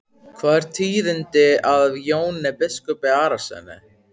Hvað er tíðinda af Jóni biskupi Arasyni?